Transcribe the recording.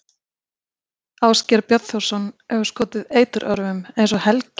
Ásgeir Bjarnþórsson hefur skotið eiturörvum, eins og Helgi